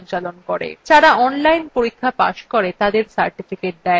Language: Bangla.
যারা online পরীক্ষা pass করে তাদের certificates দেয়